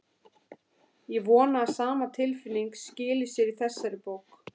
Ég vona að sama tilfinning skili sér í þessari bók.